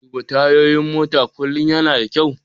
Duba tayoyin mota kullum yana da kyau.